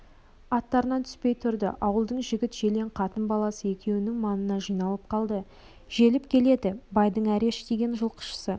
аттарынан түспей тұрды ауылдың жігіт-желең қатын-баласы екеуінің маңына жиналып қалды желіп келеді байдың әреш деген жылқышысы